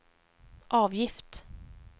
avgift